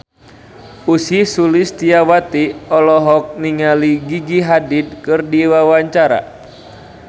Ussy Sulistyawati olohok ningali Gigi Hadid keur diwawancara